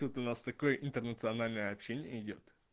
тут у нас такое интернациональное общение идёт